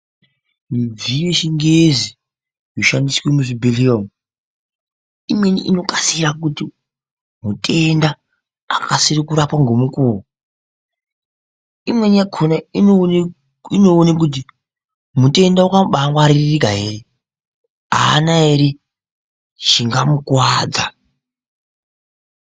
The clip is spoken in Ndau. Midziyo yechingezi yoshandiswe muzvibhedhleya umu imweni inokasira kuti mutenda akasire kurapa ngemukuvo. Imweni yakona inoone kuti mutenda akabangwaririka ere haana ere chingamukuvadza.